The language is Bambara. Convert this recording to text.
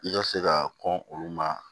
I ka se ka kɔn olu ma